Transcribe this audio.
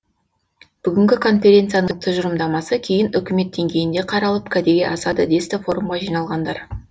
бүгінгі конференцияның тұжырымдамасы кейін үкімет деңгейінде қаралып кәдеге асады десті форумға жиналғандар